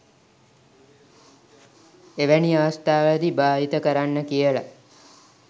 එවැනි අවස්ථාවලදී භාවිතා කරන්න කියලා